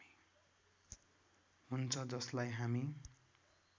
हुन्छ जसलाई हामी